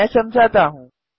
मैं समझाता हूँ